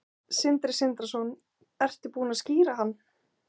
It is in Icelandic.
Sindri Sindrason: Ertu búin að skíra hann?